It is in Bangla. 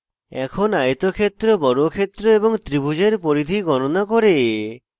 এখন আয়তক্ষেত্র বর্গক্ষেত্র এবং ত্রিভুজের পরিধি গণনা করে